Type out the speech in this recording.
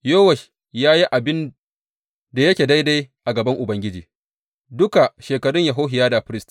Yowash ya yi abin da yake daidai a gaban Ubangiji duka shekarun Yehohiyada firist.